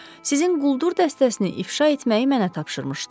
Sizin quldur dəstəsini ifşa etməyi mənə tapşırmışdılar.